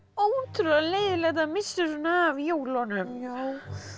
ótrúlega leiðinlegt að missa svona af jólunum já